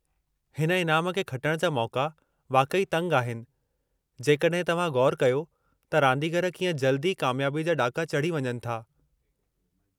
हिन इनामु खे खुटणु जा मौक़ा वाक़ई तंगि आहिनि जेकॾहिं तवहां ग़ौरु कयो त रांदीगरु कीअं जल्दी ई कामयाबी जा ॾाका चढ़ी वञनि था।